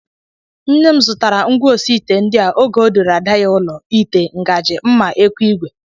Nne m zụtara ngwaosiite ndị a oge ọ duru ada ya ụlọ, ite, ngaji, mma, ekwu igwe